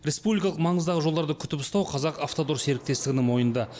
республикалық маңыздағы жолдарды күтіп ұстау қазақавтодор серіктестігінің мойнында